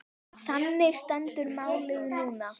Þannig stendur málið núna.